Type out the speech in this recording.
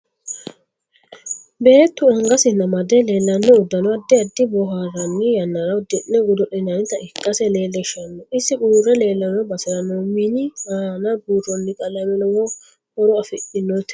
Beetu angasinni amadw leelanno udanno addi addi booharannii yannara uddi'ni godolinanita ikkase leelishanno isi urre leelanno basera noo mini aana buurooni qalame lowo horo afidhinote